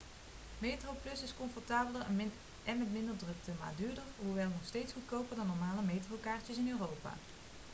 metroplus is comfortabeler en met minder drukte maar duurder hoewel nog steeds goedkoper dan normale metrokaartjes in europa